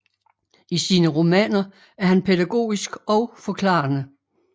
I sine romaner er han pædagogisk og forklarende